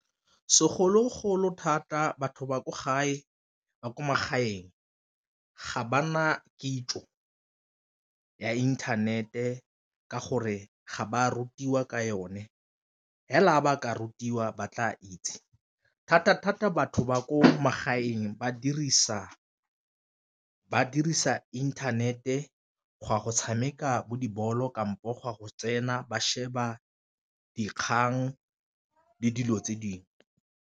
Segologolo thata batho ba ko gae ba kwa magaeng ga ba na kitso ya internet-e ka gore ga ba rutiwa ka yone, fela ba ka rutiwa ba tla itse. Thata-thata batho ba ko magaeng ba dirisa internet-e go tshameka bo dibolo kampo go ya go tsena ba sheba dikgang le dilo tse dingwe.